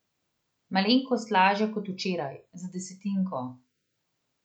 Malenkost lažja kot včeraj, za desetinko.